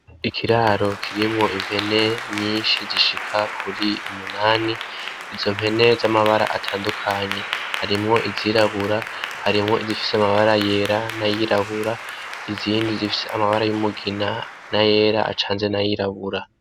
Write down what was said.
Ikiraro kirimwo impene nyinshi zishika kuri umunani izo mpene z'amabara atandukanye .Harimwo izirabura , harimwo izifise amabara yera n'ayirabura izindi zifise amabara y'umugina n'ayera acanze n'ayirabura.